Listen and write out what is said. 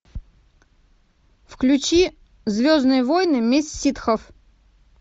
включи звездные войны месть ситхов